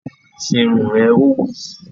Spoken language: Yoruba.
Se irun rẹ! Ó wí